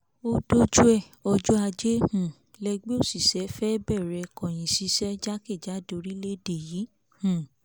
ó dójú ẹ̀ ọjọ́ ajé um lẹgbẹ́ òṣìṣẹ́ fẹ́ bẹ̀rẹ̀ kọ̀yíǹṣiṣẹ́ jákèjádò orílẹ̀ yìí um